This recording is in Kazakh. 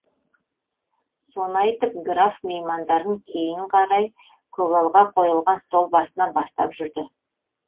соны айтып граф меймандарын кейін қарай көгалға қойылған стол басына бастап жүрді